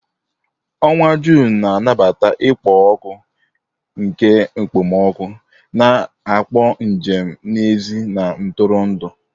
Onwa June na-anabata ikpo ọkụ nke okpomọkụ, na-akpọ njem n'èzí na ntụrụndụ.